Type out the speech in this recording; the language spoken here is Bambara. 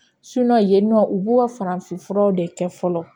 yen nɔ u b'o farafin furaw de kɛ fɔlɔ